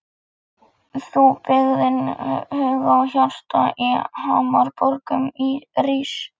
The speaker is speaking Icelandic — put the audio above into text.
Þú byggðin huga og hjarta á hamraborgum rís.